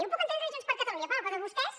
ho puc entendre de junts per catalunya però de vostès